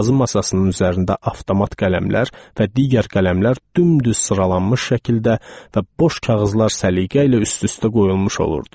Yazı masasının üzərində avtomat qələmlər və digər qələmlər dümdüz sıralanmış şəkildə və boş kağızlar səliqə ilə üst-üstə qoyulmuş olurdu.